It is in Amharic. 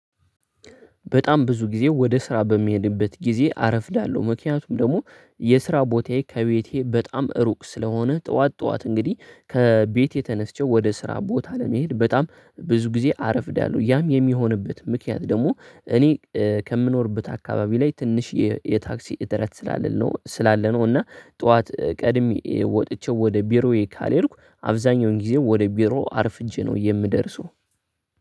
በጣም ብዙ ጊዜ ወደ ስራ በሚሄድበት ጊዜ አረፍዳለሁ ምክንያቱም ደግሞ የስራ ቦታዬ ከቤቴ በጣም ሩቅ ስለሆነ ጠዋት ጠዋት እንግዲህ ከቤቴ ተነስቼ ወደ ስራ ቦታ ለመሄድ በጣም ብዙ ጊዜ አረፍዳለሁ። ያም የሚሆንበት ምክንያት ደግሞ እኔ ከምኖርበት አካባቢ ላይ ትንሽ የ የታክሲ እጥረት ስላለ ነው ስላለ ነው። እና ጠዋት ቀድሜ ወጥቼ ወደ ቢሮዬ ካልሄድኩ አብዛኛውን ጊዜ ወደ ቢሮ አርፍጄ ነው የምደርሰው።